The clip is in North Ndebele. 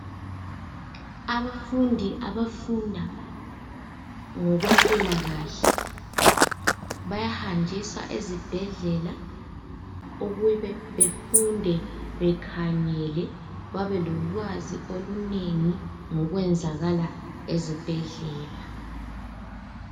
Abafundi abafunda ngokwempilakahle. Bayahanjiswa ezibhedlela ukube befunde bekhangele babelolwazi olunengi ngokwenzakala ezibhedlela